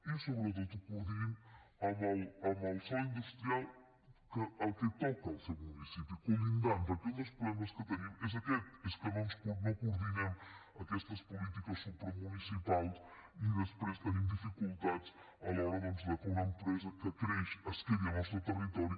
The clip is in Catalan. i sobretot que es coordinin pel sòl industrial que toca al seu municipi contigu perquè un dels problemes que tenim és aquest que no coordinem aquestes polítiques supramunicipals i després tenim dificultats a l’hora doncs que una empresa que creix es quedi al nostre territori